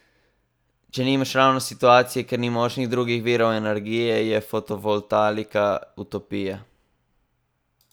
Če nimaš ravno situacije, kjer ni možnih drugih virov energije, je fotovoltaika utopija!